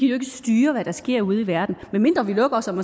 ikke styre hvad der sker ude i verden medmindre vi lukker os om